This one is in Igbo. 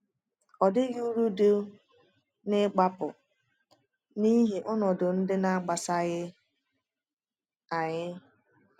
Ọ dịghị uru dị n’ịgbapụ n’ihi ọnọdụ ndị na-amasịghị anyị.